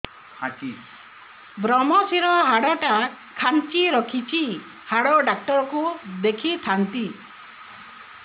ଵ୍ରମଶିର ହାଡ଼ ଟା ଖାନ୍ଚି ରଖିଛି ହାଡ଼ ଡାକ୍ତର କୁ ଦେଖିଥାନ୍ତି